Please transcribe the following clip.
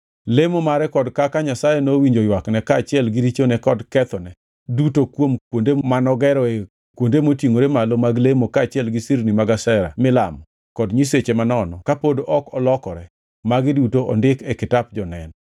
Lemo mare kod kaka Nyasaye nowinjo ywakne kaachiel gi richone kod kethone duto kod kuonde manogeroe kuonde motingʼore malo mag lemo kaachiel gi sirni mag Ashera milamo, kod nyiseche manono kapod ok olokore, magi duto ondiki e kitap jonen.